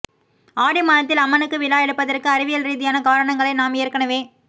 ஆடி மாதத்தில் அம்மனுக்கு விழா எடுப்பதற்கு அறிவியல் ரீதியான காரணங்களை நாம் ஏற்கெனவே